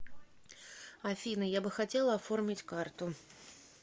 афина я бы хотела оформить карту